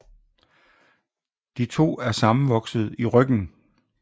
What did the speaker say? De to er sammenvokset i ryggen